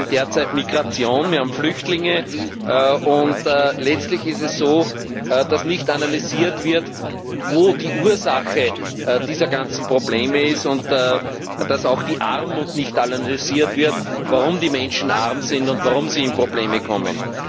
Wir haben derzeit Migration, wir haben Flüchtlinge, und letztlich ist es so, dass nicht analysiert wird, wo die Ursache dieser ganzen Probleme ist, und dass auch die Armut nicht analysiert wird, warum die Menschen arm sind und warum sie in Probleme kommen.